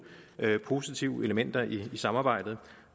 positive elementer i samarbejdet